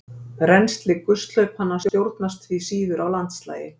Rennsli gusthlaupanna stjórnast því síður af landslagi.